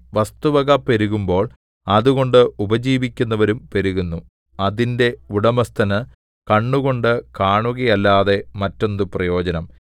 വസ്തുവക പെരുകുമ്പോൾ അതുകൊണ്ട് ഉപജീവിക്കുന്നവരും പെരുകുന്നു അതിന്റെ ഉടമസ്ഥന് കണ്ണുകൊണ്ട് കാണുകയല്ലാതെ മറ്റെന്തു പ്രയോജനം